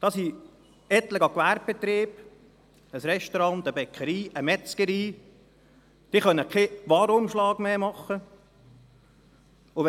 Es gibt etliche Gewerbebetriebe, namentlich ein Restaurant, eine Bäckerei und eine Metzgerei, die keinen Warenumschlag mehr werden durchführen können.